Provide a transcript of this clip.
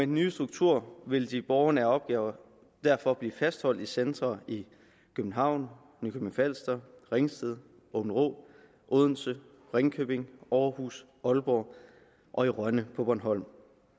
nye struktur vil de borgernære opgaver derfor blive fastholdt i centre i københavn nykøbing falster ringsted aabenraa odense ringkøbing aarhus aalborg og i rønne på bornholm